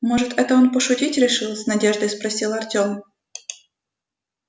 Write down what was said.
может это он пошутить решил с надеждой спросил артём